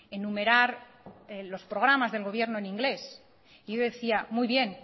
enumerar los programas del gobierno en inglés y yo decía muy bien